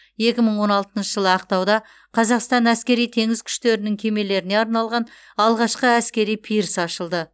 екі мың он алтыншы жылы ақтауда қазақстан әскери теңіз күштерінің кемелеріне арналған алғашқы әскери пирс ашылды